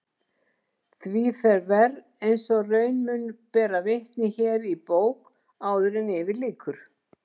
Því fer verr eins og raun mun bera vitni hér í bók áður yfir lýkur.